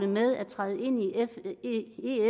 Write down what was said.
med at træde ind i